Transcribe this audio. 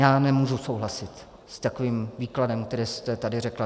Já nemůžu souhlasit s takovým výkladem, který jste tady řekla.